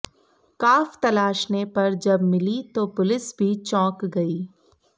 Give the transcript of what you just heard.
काफ तलाशने पर जब मिली तो पुलिस भी चौंक गई